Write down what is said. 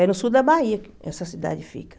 É no sul da Bahia que essa cidade fica.